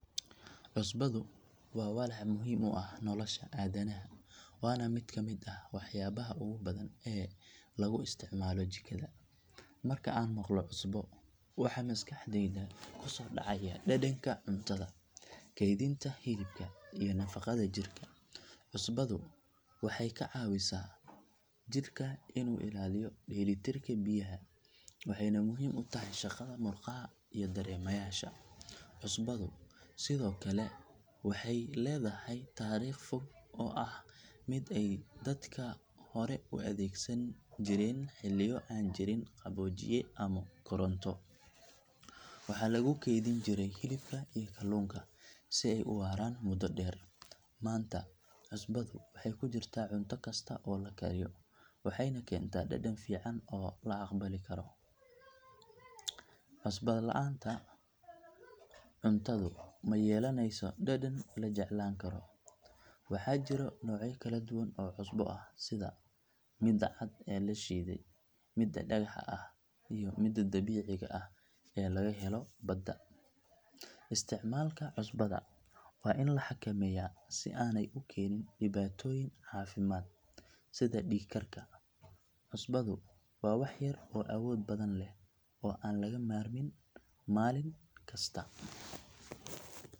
Cusbadu waa walax muhiim u ah nolosha aadanaha waana mid ka mid ah waxyaabaha ugu badan ee lagu isticmaalo jikada. Marka aan maqlo cusbo waxa maskaxdayda ku soo dhacaya dhadhanka cuntada, kaydinta hilibka iyo nafaqada jirka. Cusbadu waxay ka caawisaa jirka inuu ilaaliyo dheelitirka biyaha, waxayna muhiim u tahay shaqada murqaha iyo dareemayaasha. Cusbadu sidoo kale waxay leedahay taariikh fog oo ah mid ay dadka hore u adeegsan jireen xilliyo aan jirin qaboojiye ama koronto. Waxaa lagu kaydin jiray hilibka iyo kalluunka si ay u waaran muddo dheer. Maanta cusbadu waxay ku jirtaa cunto kasta oo la kariyo waxayna keentaa dhadhan fiican oo la aqbali karo. Cusbada la’aan cuntadu ma yeelaneyso dhadhan la jeclaan karo. Waxaa jira noocyo kala duwan oo cusbo ah sida midda cad ee la shiiday, midda dhagaxa ah iyo midda dabiiciga ah ee laga helo badda. Isticmaalka cusbada waa in la xakameeyaa si aanay u keenin dhibaatooyin caafimaad sida dhiig karka. Cusbadu waa wax yar oo awood badan leh oo aan laga maarmin maalin kasta.